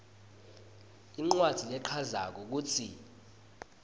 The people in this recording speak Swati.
incwadzi lechazako kutsi